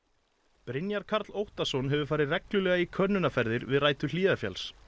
Brynjar Karl Óttarsson hefur farið reglulega í könnunarferðir við rætur Hlíðarfjalls